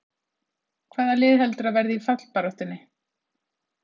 Hvaða lið heldurðu að verði í fallbaráttunni?